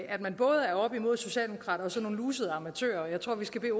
at man både er oppe imod socialdemokrater og så nogle lusede amatører og jeg tror vi skal